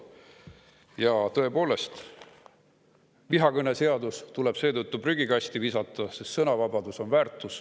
Ja tõepoolest, vihakõneseadus tuleb seetõttu prügikasti visata, sest sõnavabadus on väärtus.